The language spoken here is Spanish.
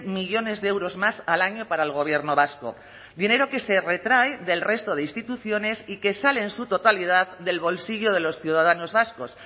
millónes de euros más al año para el gobierno vasco dinero que se retrae del resto de instituciones y que sale en su totalidad del bolsillo de los ciudadanos vascos